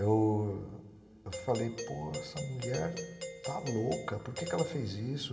Eu.. eu falei, pô, essa mulher está louca, por que ela fez isso?